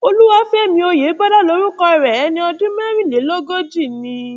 olúwafẹmí ọyẹbọlá lorúkọ rẹ ẹni ọdún mẹrìnlélógójìí ni